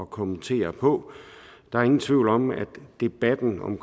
kommentere på der er ingen tvivl om at debatten om